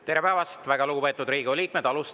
Tere päevast, väga lugupeetud Riigikogu liikmed!